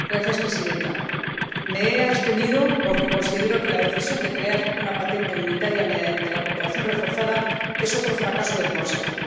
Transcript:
Señora Presidenta, me he abstenido porque considero que la decisión de crear una patente unitaria mediante la cooperación reforzada es otro fracaso del Consejo.